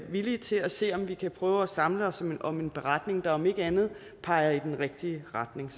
villige til at se om vi kan prøve at samle os om en beretning der om ikke andet peger i den rigtige retning